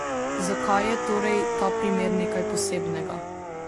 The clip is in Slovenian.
Zakaj je torej ta primer nekaj posebnega?